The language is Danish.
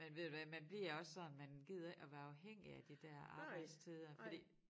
Men ved du hvad man bliver også sådan man gider ikke at være afhængig af de der arbejdstider fordi